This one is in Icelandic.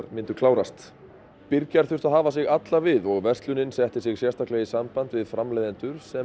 myndu klárast þurftu að hafa sig alla við og verslunin setti sig sérstaklega í samband við framleiðendur sem